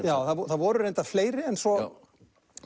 já það voru reyndar fleiri en svo